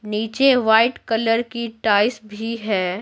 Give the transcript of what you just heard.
नीचे white colour की tiles भी है।